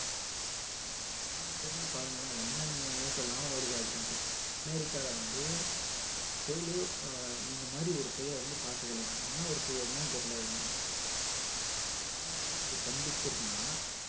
வானிலையில பாருங்களேன் என்னென்ன news லாம் வருது அப்படின்னு அமெரிக்கால வந்து ஆஹ் புயல்ல இந்த மாதிரி ஒரு புயலே வந்து பார்த்தது இல்லையாம் என்ன ஒரு புயல்னு தான் தெரியல அதுங்க அமெரிக்காவே அப்படியே ஸ்தம்பிச்சி இருக்குன்னா